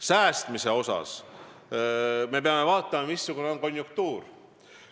Säästmise puhul peame vaatama, missugune on konjunktuur.